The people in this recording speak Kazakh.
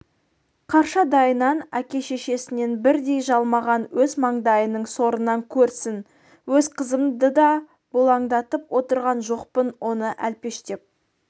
қаршадайынан әке-шешесін бірдей жалмаған өз маңдайының сорынан көрсін өз қызымды да бұлаңдатып отырған жоқпын оны әлпештеп